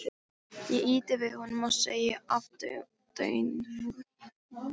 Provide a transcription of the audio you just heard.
Ég ýti við honum og segi aðdáunarfull.